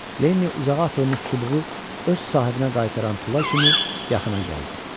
Lenni uzağa atılmış çubuğu öz sahibinə qaytaran tula kimi yaxına gəldi.